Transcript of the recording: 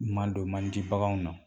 Madon man di baganw na